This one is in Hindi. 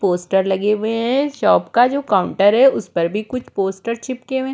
पोस्टर लगे हुए हैं शॉप का जो काउंटर है उस पर भी कुछ पोस्टर छिपके --